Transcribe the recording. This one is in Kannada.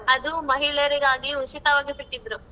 ಅದು ಮಹಿಳೆಯರಿಗಾಗಿ ಉಚಿತವಾಗಿ ಬಿಟ್ಟಿದ್ರು.